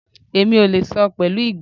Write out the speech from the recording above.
Èmi ò lè sọ pẹ̀lú ìgboyà